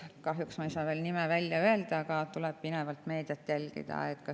Kahjuks ei saa ma veel nime välja öelda, teil tuleb pinevalt meediat jälgida.